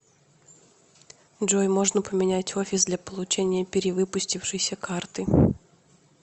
джой можно поменять офис для получения перевыпустившейся карты